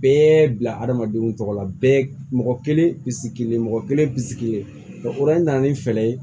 Bɛɛ bila hadamadenw tɔgɔ la bɛɛ mɔgɔ kelen bi sigilen mɔgɔ kelen bi sigi nana ni fɛɛrɛ ye